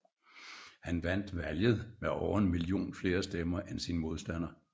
Han vandt valget med over en million flere stemmer end sin modstander